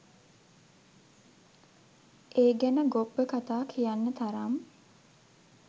ඒ ගැන ගොබ්බ කතා කියන්න තරම්